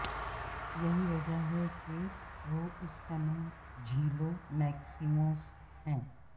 یہی وجہ ہے کہ وہ اس کا نام جھیلوں میکسیموس ہے